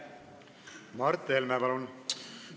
Mart Helme, palun!